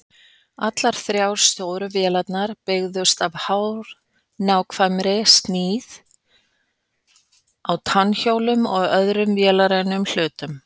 Allar þrjár stóru vélarnar byggðust á hárnákvæmri smíð á tannhjólum og öðrum vélrænum hlutum.